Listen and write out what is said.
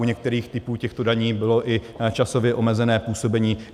U některých typů těchto daní bylo i časově omezené působení.